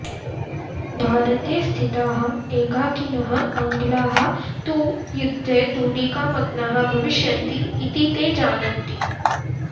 भारते स्थिताः एकाकिनः आङ्ग्लाः तु यद्धे धूलिकामग्नाः भविष्यन्ति इति ते जानन्ति